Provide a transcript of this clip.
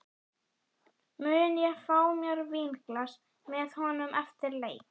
Mun ég fá mér vínglas með honum eftir leik?